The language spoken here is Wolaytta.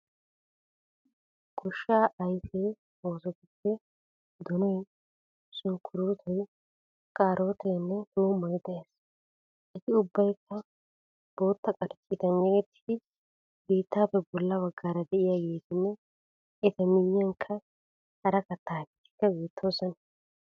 Goshshaa ayife oosotuppe donoyi, sunkkuruutoyi, kaarooteenne tuummoy de'ees. Eti ubbayikka bootta qarcciitan yegettidi biittaappe bolla baggaara de'iyageetinne eta miyyiyankka hara katta ayifetikka beettoosona.